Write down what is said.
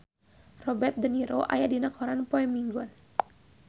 Robert de Niro aya dina koran poe Minggon